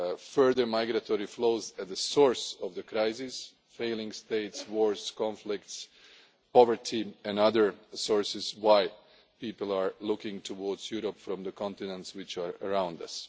further migratory flows at the source of the crisis failing states, wars, conflicts, poverty and other reasons why people are looking towards Europe from the continents which are around